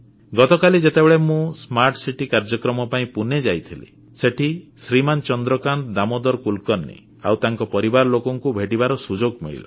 ଗତକାଲି ଯେତେବେଳେ ମୁଁ ସ୍ମାର୍ଟ ସିଟି କାର୍ଯ୍ୟକ୍ରମ ପାଇଁ ପୁନେ ଯାଇଥିଲି ସେଠି ଶ୍ରୀମାନ ଚନ୍ଦ୍ରକାନ୍ତ ଦାମୋଦର କୁଲକର୍ଣ୍ଣି ଆଉ ତାଙ୍କ ପରିବାର ଲୋକଙ୍କୁ ଭେଟିବାର ସୁଯୋଗ ମିଳିଲା